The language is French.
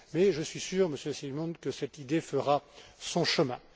Mais je suis sûr, Monsieur Simon, que cette idée fera son chemin.